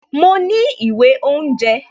Mo ní ìwé oúnjẹ